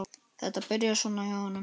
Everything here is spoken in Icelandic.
Þetta byrjaði svona hjá honum.